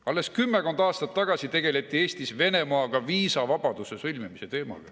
Alles kümmekond aastat tagasi tegeleti Eestis Venemaaga viisavabaduse sõlmimise teemaga.